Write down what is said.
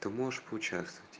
ты можешь поучаствовать